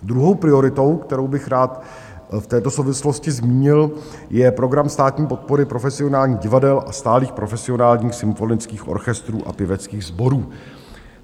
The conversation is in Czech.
Druhou prioritou, kterou bych rád v této souvislosti zmínil, je program státní podpory profesionálních divadel a stálých profesionálních symfonických orchestrů a pěveckých sborů.